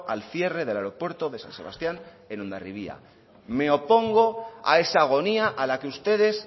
al cierre del aeropuerto de san sebastían en hondarribia me opongo a esa agonía a la que ustedes